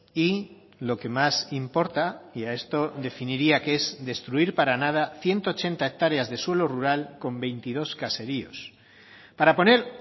y lo que más importa y a esto definiría que es destruir para nada ciento ochenta hectáreas de suelo rural con veintidós caseríos para poner